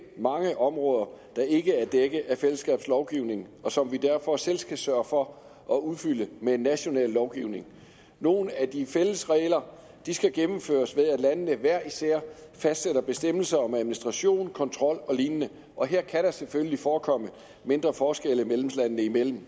mange områder der ikke er dækket af fællesskabets lovgivning og som vi derfor selv skal sørge for at udfylde med en national lovgivning nogle af de fælles regler skal gennemføres ved at landene hver især fastsætter bestemmelser om administration kontrol og lignende og her kan der selvfølgelig forekomme mindre forskelle medlemslandene imellem